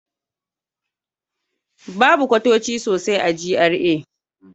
Babu kwatoci sosai a GRA.